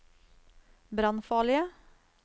brannfarlige